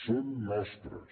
són nostres